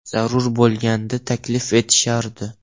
Zarur bo‘lganda, taklif etishardi.